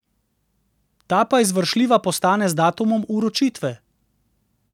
Ta pa izvršljiva postane z datumom vročitve.